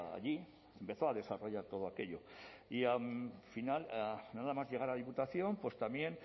allí empezó a desarrollar todo aquello y al final nada más llegar a diputación pues también